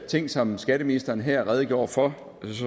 ting som skatteministeren her redegjorde for